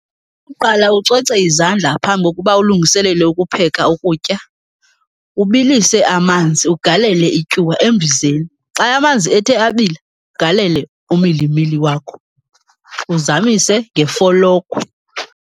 Uqala ucoce izandla phambi kokuba ulungiselele ukupheka ukutya. Ubilise amanzi, ugalele ityuwa embizeni. Xa amanzi ethe abila ugalele umilimili wakho, uzamise ngefolokhwe.